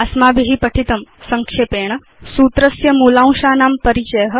अस्माभि पठितं संक्षेपेण सूत्रस्य मूलांशानां परिचय